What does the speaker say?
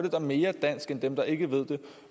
en mere dansk end dem der ikke ved det